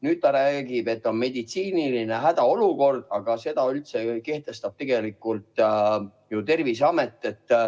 Nüüd ta räägib, et on meditsiiniline hädaolukord, aga seda ju kehtestab tegelikult Terviseamet.